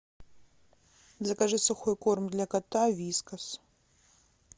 закажи сухой корм для кота вискас